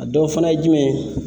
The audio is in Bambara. A dɔ fana ye jumɛn ye?